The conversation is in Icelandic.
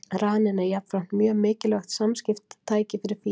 Raninn er jafnframt mjög mikilvægt samskiptatæki fyrir fíla.